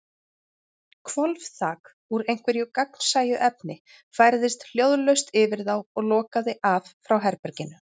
Hvolfþak, úr einhverju gagnsæju efni, færðist hljóðlaust yfir þá og lokaði af frá herberginu.